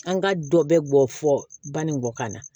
An ka dɔ bɛ bɔ fɔ ba ni kɔ kan na